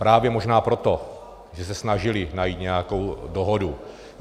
Právě možná proto, že se snažili najít nějakou dohodu.